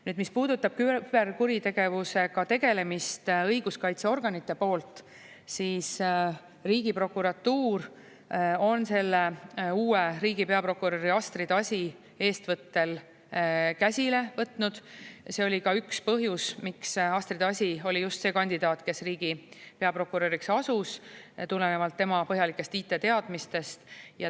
Nüüd, mis puudutab küberkuritegevusega tegelemist õiguskaitseorganite poolt, siis Riigiprokuratuur on selle uue riigi peaprokuröri Astrid Asi eestvõttel käsile võtnud, ja see oli ka üks põhjus, miks Astrid Asi oli just see kandidaat, kes riigi peaprokuröriks asus, tulenevalt tema põhjalikest IT-teadmistest.